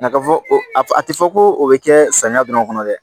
Nka ka fɔ a ti fɔ ko o be kɛ samiya dɔrɔn kɔnɔ dɛ